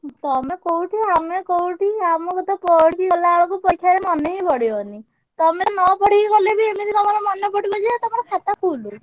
ଉଁ ତମେ କୋଉଠି ଆମେ କୋଉଠି ଆମକୁ ତ ପଢିକି ଗଲା ବେଳକୁ ପରୀକ୍ଷାରେ ମନେ ହିଁ ପଡ଼ିବନି। ତମେ ନ ପଢିକି ଗଲେ ବି ଏମିତି ତମର ମନେ ପଡିବ ଯେ ତମର ଖାତା full